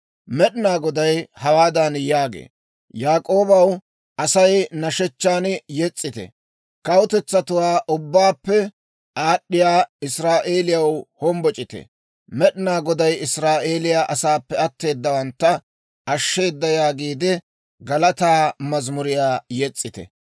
Med'inaa Goday hawaadan yaagee; «Yaak'ooba asaw nashshechchan yes's'ite; kawutetsatuwaa ubbaappe aad'd'iyaa Israa'eeliyaw hombboc'ite. Med'inaa Goday Israa'eeliyaa asaappe atteedawantta ashsheeda yaagiide galataa mazamuriyaa yes's'ite.